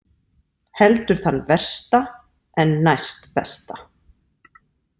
Heldur þann versta en næstbesta.